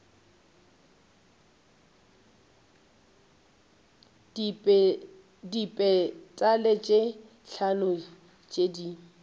dipetale tše hlano tše di